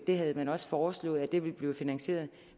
det havde man også foreslået ville blive finansieret